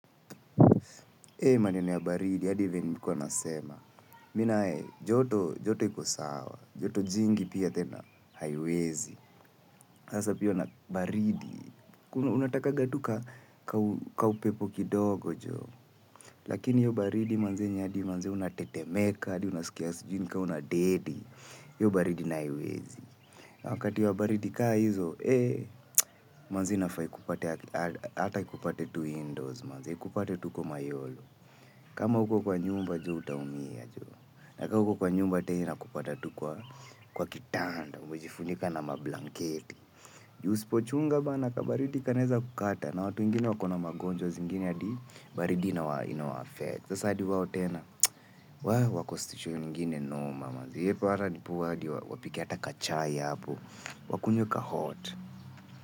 Ee hii maneno ya baridi, hadi venye nilikuwa nasema. Mimi nae, joto, joto iko sawa, joto jingi pia tena haiwezi. Sasa pia na baridi unatakanga tu ka upepo kidogo jo. Lakini hiyo baridi manze yenye hadi manze unatetemeka, hadi unasikia siju ni kama unadedi. Hiyo baridi nayo haiwezi. Wakati wa baridi kaa hizo, ee manze inafaa ikupate, hata ikupate tu indoors manze, ikupate tu huko mayolo. Kama hauko kwa nyumba jo utaumia jo. Nakama uko kwa nyumba tena inkupata tu kwa kwa kitanda. Umejifunika na mablanketi. Ju usipochunga bana kabaridi kanaeza kukata. Na watu wengine wako na magonjwa zingine hadi baridi ina wa affect. Sasa hadi wao tena. Waah wako situation ingine noma ee hata ndipo hata hadi wapike hata kachai hapo. Wakunywe ka hot.